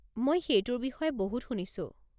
মই সেইটোৰ বিষয়ে বহুত শুনিছো।